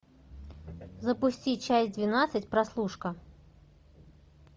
запусти часть двенадцать прослушка